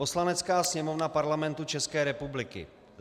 Poslanecká sněmovna Parlamentu České republiky: